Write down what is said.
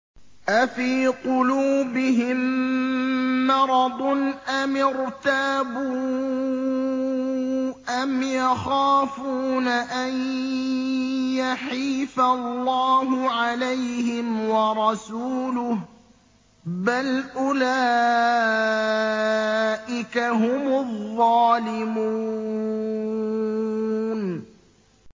أَفِي قُلُوبِهِم مَّرَضٌ أَمِ ارْتَابُوا أَمْ يَخَافُونَ أَن يَحِيفَ اللَّهُ عَلَيْهِمْ وَرَسُولُهُ ۚ بَلْ أُولَٰئِكَ هُمُ الظَّالِمُونَ